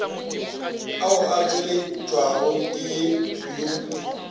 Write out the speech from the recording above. ao a tšweletšwago ke yo